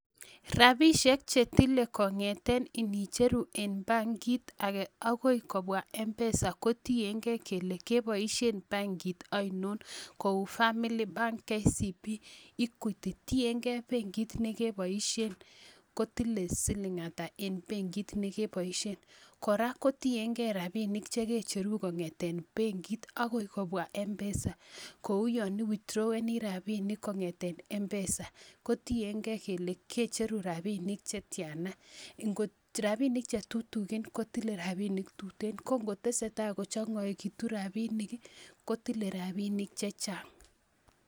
Rapisiek chetile kong'eten inicheru en bankit ake akoi kobwa Mpesa kotienge kele keboisien bankit ainon kou Familiy bank, KCB,Equity tienge benkit nekeboisien kotile siling ata en benkit nekeboisien kora kotienge rapinik chekecheru kongeten benkit akoi kobwa Mpesa kou yon"iwithdraweni" rapinik kong'eten Mpesa kotienge kele kecheru rapinik chetiana ingot rapinik chetutikin kotile rapinik tuten ko ngotesetai kochong'oitu rapinik kotile rapinik chechang.